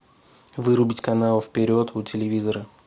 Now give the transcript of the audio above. вырубить канал вперед у телевизора